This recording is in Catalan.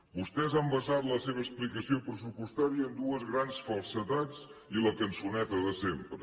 vostès han basat la seva explicació pressupostària en dues grans falsedats i la cançoneta de sempre